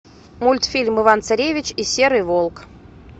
мультфильм иван царевич и серый волк